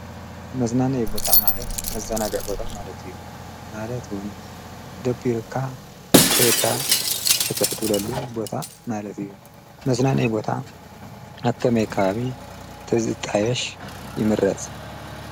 መዝናነዪ ቦታ ማለት መዘናግዒ ቦታ ማለት እዩ ማለት እዉን ደቢሩካ ከይድካ ፍትሕ ትብለሉ ቦታ ማለት እዩ። መዝናነዪ ቦታ ኣብ ከመይ ከባቢ ተዝጣየሽ ይምረፅ ?